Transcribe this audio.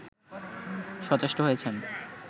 সচেষ্ট হয়েছেন